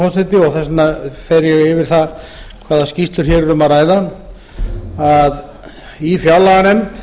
forseti og þess vegna fer ég yfir það hvaða skýrslur hér er um að ræða að í fjárlaganefnd